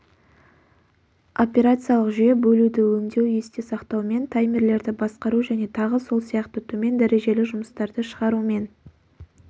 операциялық жүйе бөлуді өңдеу есте сақтау мен таймерлерді басқару және тағы сол сияқты төмен дәрежелі жұмыстарды шығарумен